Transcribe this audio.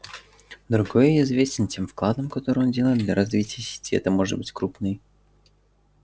другой известен тем вкладом который он делает для развития сети это может быть крупный